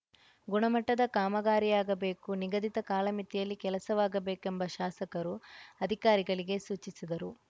ಗುಣಮಟ್ಟದ ಕಾಮಗಾರಿಯಾಗಬೇಕು ನಿಗದಿತ ಕಾಲಮಿತಿಯಲ್ಲಿ ಕೆಲಸವಾಗಬೇಕೆಂಬ ಶಾಸಕರು ಅಧಿಕಾರಿಗಳಿಗೆ ಸೂಚಿಸಿದರು